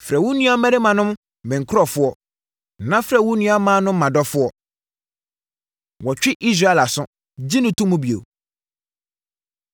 “Frɛ wo nuammarimanom ‘Me nkurɔfoɔ’ na frɛ wo nuammaanom ‘Mʼadɔfoɔ.’ ” Wɔtwe Israel Aso, Gye No To Mu Bio